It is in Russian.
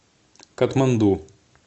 катманду